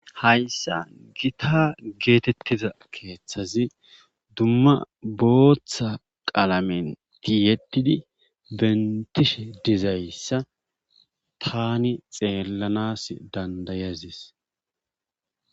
Hayssan gita geeteettiza keethazi dumma bootha qalame tiyettidi benttishe dizayssa taani xeellanaas danddayadis.